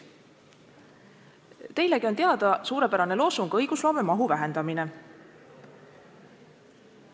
Teilegi on teada suurepärane loosung "Vähendame õigusloome mahtu!".